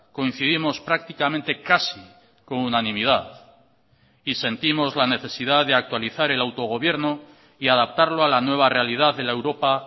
coincidimos prácticamente casi con unanimidad y sentimos la necesidad de actualizar el autogobierno y adaptarlo a la nueva realidad de la europa